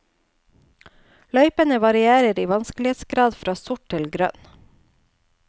Løypene varierer i vanskelighetsgrad fra sort til grønt.